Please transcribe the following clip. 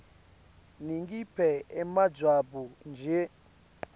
ningiphe emajwabu nje